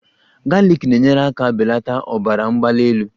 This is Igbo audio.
Galiki na-enyere aka belata ọbara mgbali elu